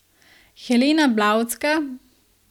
Helena Blavatska?